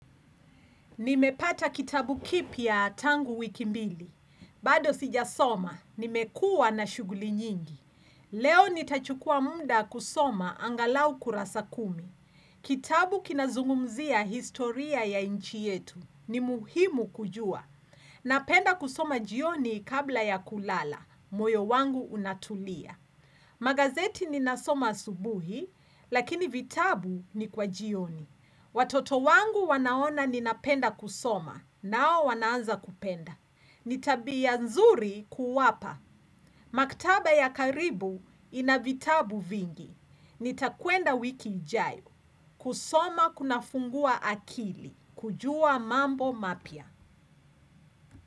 Nimepata kitabu kipya tangu wiki mbili. Bado sijasoma, nimekua na shughuli nyingi. Leo nitachukua mda kusoma angalau kurasa kumi. Kitabu kinazungumzia historia ya nchi yetu. Ni muhimu kujua. Napenda kusoma jioni kabla ya kulala. Moyo wangu unatulia. Magazeti ninasoma asubuhi, lakini vitabu ni kwa jioni. Watoto wangu wanaona ninapenda kusoma, nao wanaanza kupenda. Ni tabia nzuri kuwapa. Maktaba ya karibu inavitabu vingi. Nitakwenda wiki jayo. Kusoma kunafungua akili. Kujua mambo mapia.